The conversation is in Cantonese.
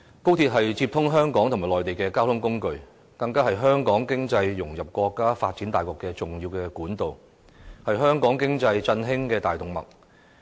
高鐵是接通香港與內地的交通工具，是香港融入國家經濟發展大局的重要管道，是振興香港經濟的大動脈。